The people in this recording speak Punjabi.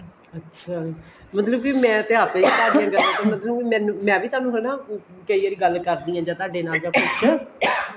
ਅੱਛਾ ਮਤਲਬ ਕੇ ਮੈਂ ਤੇ ਆਪ ing ਮੈਂ ਵੀ ਤੁਹਾਨੂੰ ਹਨਾ ਜਿਹੜੀ ਗੱਲ ਕਰਨੀ ਹੈ ਤੁਹਾਡੇ ਨਾਲ ਜਾਂ ਕੁੱਝ